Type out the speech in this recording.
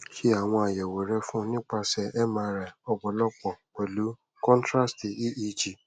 se awon ayewo re fun nipase mri opolo pelu contrast eeg